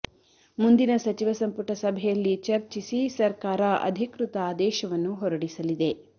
ಮುಂದಿನ ಸಚಿವ ಸಂಪುಟ ಸಭೆಯಲ್ಲಿ ಚರ್ಚಿಸಿ ಸರ್ಕಾರ ಅಧಿಕೃತ ಆದೇಶವನ್ನು ಹೊರಡಿಸಲಿದೆ